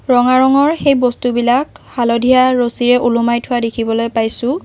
ৰঙা ৰঙৰ সেই বস্তুবিলাক হালধীয়া ৰছীৰে ওলমাই থোৱা দেখিবলৈ পাইছোঁ।